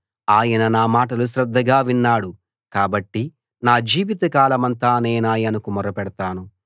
ఆయన నా మాటలు శ్రద్ధగా విన్నాడు కాబట్టి నా జీవితకాలమంతా నేనాయనకు మొర్ర పెడతాను